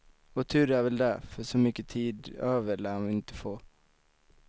Och tur är väl det, för så mycket tid över lär han inte få.